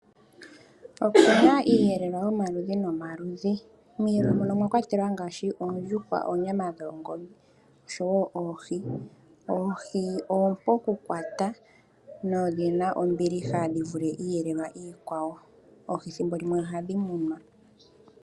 Opuna iiyelelwa yomaludhi nomaludhi. Miiyelelwa muno omwa kwatelwa ngaashi: oondjuhwa, oonyama dhongombe, osho woo oohi. Oohi oompu oku kwata na odhina ombiliha dhi vule iiyelelwa iikwawo. Oohi thimbolimwe oha dhi munwa